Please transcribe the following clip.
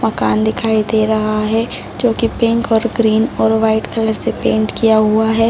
मकान दिखाई दे रहा है जोकि पिक और ग्रीन और वाइट कलर से पेंट किया हुआ है |